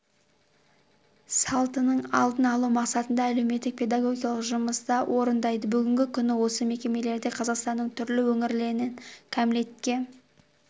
салтының алдын алу мақсатында әлеуметтік-педагогикалық жұмысты орындайды бүгінгі күні осы мекемелерде қазақстанның түрлі өңірлерінен кәмелетке